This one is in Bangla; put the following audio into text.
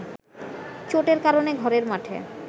চোটের কারণে ঘরের মাঠে